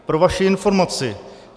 Pro vaši informaci.